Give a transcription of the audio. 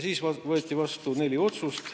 Siis võeti vastu neli otsust.